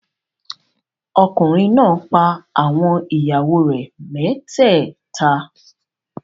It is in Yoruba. Ọkùnrin náà pa àwọn ìyàwó rẹ̀ mẹ́tẹ́ẹ̀ta.